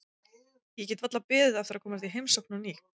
Ég get varla beðið eftir að komast í heimsókn á ný.